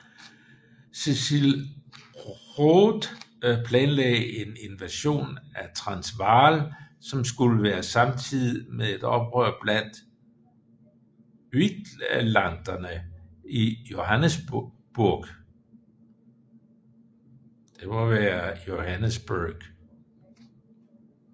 Cecil Rhodes planlagde en invasion af Transvaal som skulle være samtidig med et oprør blandt uitlanderne i Johannesburg